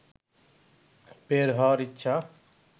বের হওয়ার ইচ্ছা